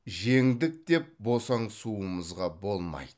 жеңдік деп босаңсуымызға болмайды